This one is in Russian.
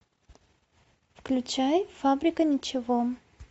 включай фабрика ничего